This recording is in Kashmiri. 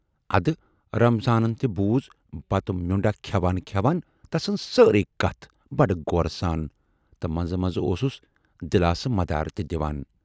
اَدٕ رمضانن تہِ بوزٕ بتہٕ میونڈاہ کھٮ۪وان کھٮ۪وان تسٕنزٕ ساریے کتھٕ بڈٕ غورٕ سان تہٕ منزٕ منزٕ اوسُس دِلاسہٕ مدارٕ تہِ دِوان۔